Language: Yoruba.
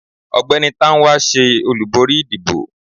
ọgbẹni Tánwa se olubori ìdíbò